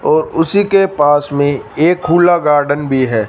और उसी के पास में एक खुला गार्डन भी है।